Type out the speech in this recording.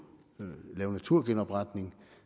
lave naturgenopretning